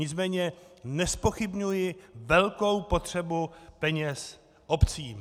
Nicméně nezpochybňuji velkou potřebu peněz obcím.